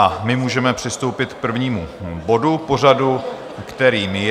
A my můžeme přistoupit k prvnímu bodu pořadu, kterým je...